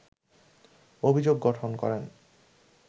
অভিযোগ গঠন করেন